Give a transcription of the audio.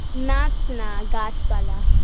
নাচ না গাছপালা